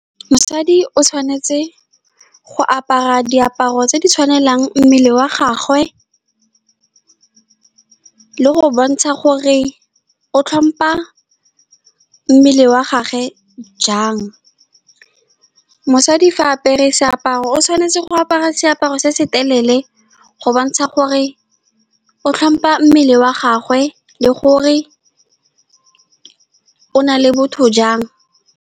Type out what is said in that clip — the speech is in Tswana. Mosadi o tshwanetse go apara diaparo tse di tshwanelang mmele wa gagwe, le go bontsha gore o tlhompa mmele wa gagwe jang. Mosadi fa a apere seaparo, o tshwanetse go apara seaparo se se telele go bontsha gore o tlhompa mmele wa gagwe, le gore o nale botho jang.